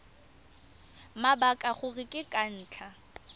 mabaka gore ke ka ntlha